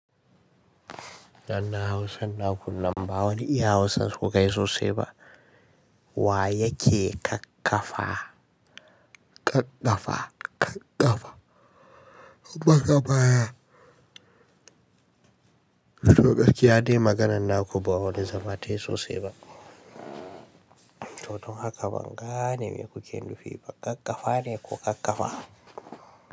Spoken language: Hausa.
Danna Hausa, na kunna bawani, iya Hausa suka kai sosai ba. Wa yake kakkafa? Kakkafa, kakkafa. Ubangaba. To garkiya ne maganar naku, bawane zama tayi sosai ba. To don haka ban gane me kuke nufi ba. Kakkafa ne ko kakkafa?